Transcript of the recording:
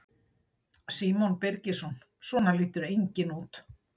Símon Birgisson: Svona lítur enginn út?